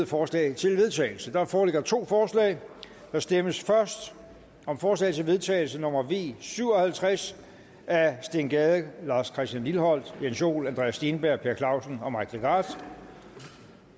forslag til vedtagelse der foreligger to forslag der stemmes først om forslag til vedtagelse nummer v syv og halvtreds af steen gade lars christian lilleholt jens joel andreas steenberg per clausen og mike legarth